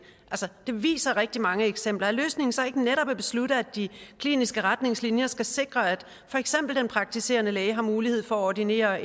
det viser rigtig mange eksempler er løsningen så ikke netop at beslutte at de kliniske retningslinjer skal sikre at for eksempel den praktiserende læge har mulighed for at ordinere